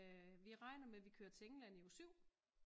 Vi regner med at vi kører til England i uge 7